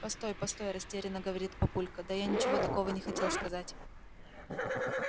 постой постой растеряно говорит папулька да я ничего такого не хотел сказать